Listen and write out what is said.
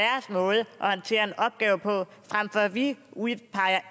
håndtere en opgave på frem for at vi udpeger